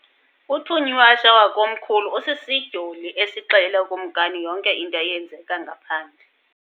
Uthunywashe wakomkhulu usisidyoli esixelela ukumkani yonke into eyenzeka ngaphandle.